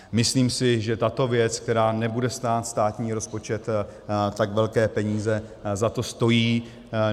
Myslím si, že tato věc, která nebude stát státní rozpočet tak velké peníze, za to stojí.